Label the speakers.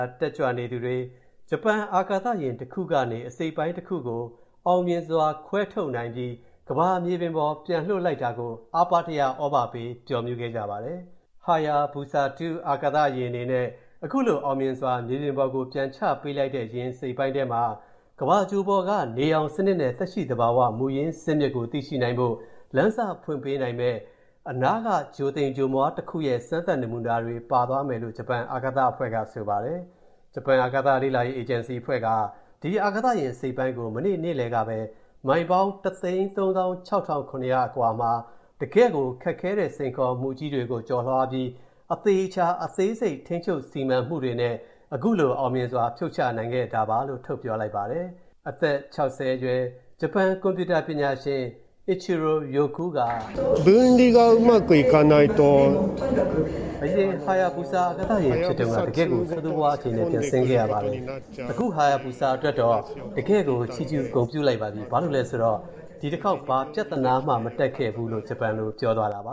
Speaker 1: း တက်ကြွနေသူတွေ ဂျပန်အာကာသယာဉ်တခုကနေ အစိတ်အပိုင်းတခုကို အောင်မြင်စွာ ခွဲထုတ်နိုင်ပြီး ကမ္ဘာမြေပြင်ပေါ် ပြန်လွှတ်လိုက်တာကို အားပါးတရ သြဘာပေး ပျော်မြူးခဲ့ကြပါတယ်။ Hayabusa 2 အာကာသယာဉ်အနေနဲ့ ခုလို အောင်မြင်စွာ မြေပြင်ပေါ်ကို ပြန်ချပေးလိုက်တဲ့ ယာဉ်အစိတ်အပိုင်းထဲမှာ ကမ္ဘာဂြိုဟ်ပေါ်က နေရောင်စနစ်နဲ့ သက်ရှိသဘာဝ မူရင်းဇာစ်မြစ်ကို သိရှိနိုင်ဖို့ လမ်းစဖွင့်ပေးနိုင်မယ့် အနားက ဂြိုဟ်သိမ်ဂြိုဟ်မွှားတခုရဲ့ စမ်းသပ်နမူနာတွေ ပါသွားမယ်လို့ ဂျပန်အာကာသအဖွဲ့က ဆိုပါတယ်။ ဂျပန်အာကာသလေ့လာရေး အေဂျင်စီအဖွဲ့က ဒီ အာကာသယာဉ် အစိတ်အပိုင်းကို မနေ့ နေ့လယ်ကပဲ မိုင်ပေါင်း ၁၃၆,၇၀၀ အကွာမှာ တကယ့်ကို ခက်ခဲတဲ့ စိန်ခေါ်မှုကြီးတွေ ကျော်လွှားပြီး အသေအချာ အသေးစိတ် ထိန်းချုပ်စီမံမှုတွေနဲ့ ခုလို အောင်မြင်စွာ ဖြုတ်ချနိုင်ခဲ့တာလို့ ထုတ်ပြောလိုက်ပါတယ်။ အသက် ၆၀ အရွယ် ကွန်ပြူတာပညာရှင် Ichiro Ryokou က “အရင် Hayabusa အာကာသယာဉ်အဖြစ်တုန်းက တကယ့်ကို ဆိုးဆိုးဝါးဝါး အခြေအနေနဲ့ ပြန်ဆင်းလာခဲ့ရတယ်။ အခု Hayabusa အတွက်တော့ တကယ့်ကို ချီးကျူးလိုက်ပြီ။ ဘာလို့လဲဆိုတော့ ဒီတခေါက် ဘာပြဿနာမှ မတက်ခဲ့ဘူး” လို့ ဂျပန်လို ပြောသွားတာပါ